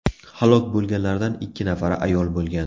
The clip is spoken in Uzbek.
Halok bo‘lganlardan ikki nafari ayol bo‘lgan.